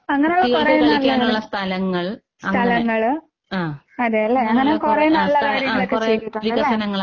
അങ്ങനെയുള്ള കുറയെ നല്ല നല്ല, സ്ഥലങ്ങള് അതേല്ലേ, അങ്ങനെ കൊറേ നല്ലകാര്യങ്ങളൊക്കെ ചെയ്തിട്ടുണ്ട് അല്ലേ?